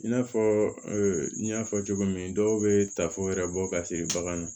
I n'a fɔ n y'a fɔ cogo min dɔw bɛ tafo wɛrɛ bɔ ka se baganw ma